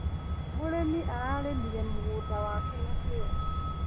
Mũrĩmi ararĩmire mũgũnda wake na kĩo.